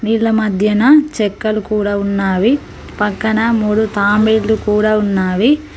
నీళ్ల మధ్యన చెక్కలు కూడా ఉన్నావి పక్కన మూడు తాంబేలు కూడా ఉన్నావే.